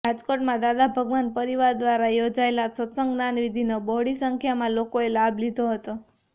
રાજકોટમાં દાદા ભગવાન પરિવાર દ્વારા યોજાયેલ સત્સંગ જ્ઞાનિવિધિનો બહોળી સંખ્યામાં લોકોએ લાભ લીધો હતો